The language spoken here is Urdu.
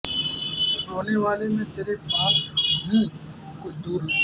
رونے والے میں تیرے پاس ہوں کچھ دور نہیں